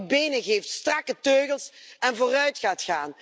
Dat u benen geeft, strakke teugels, en vooruitgaat.